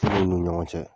ni ɲɔgɔn cɛ